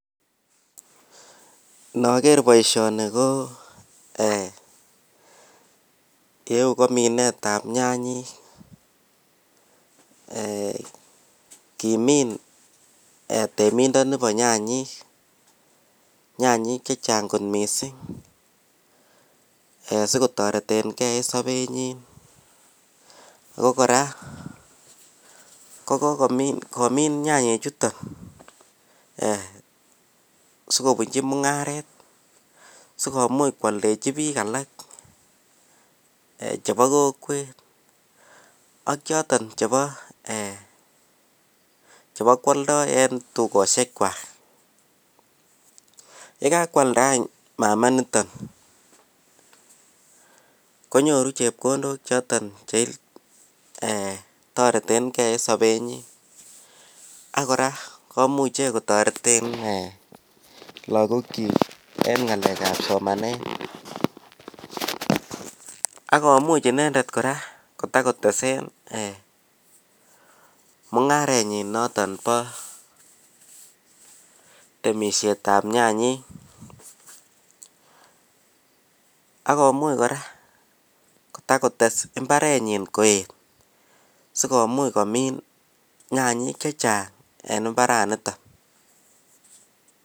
nogeer boishoni ko eeh iyeu ko minetab nyanyik kimiin temindoni bo nyanyik, nyanyik chechang kot mising sigotoretengee en sobenyiin, ko koraa kogomiin nyanyik chuton sigobunchi mungaret, sigomuuch kwoldechi biik alak chebo kokweet ak choton chebo eeh chebokwoldoo en tugoshek kwaak, yegakwalda any mama niton konyoru chepkondook choton chetoretengee en sobenyin ak kora komuche kotoreten eeh lagook kyiik en ngaleek ab somanet ak komuch inendet kora kotagotesen mungarenyin noton bo temishet ab nyanyik, ak komuch kora kotagotes mbarenyin koet sigomuuch komin nyanyik chechang en mbaraniton.